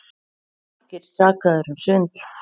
Margir sakaðir um svindl